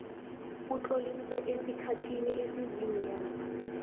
utloliswe esikhathini esiziinyanga